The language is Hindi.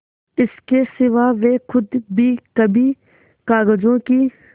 इसके सिवा वे खुद भी कभी कागजों की